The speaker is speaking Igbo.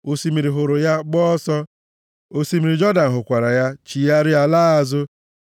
Osimiri hụrụ ya, gbaa ọsọ, + 114:3 \+xt Ọpụ 14:21\+xt* osimiri Jọdan hụkwara ya chigharịa laa azụ + 114:3 \+xt Jos 3:12-16\+xt*;